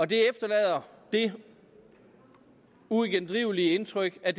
det efterlader det uigendrivelige indtryk at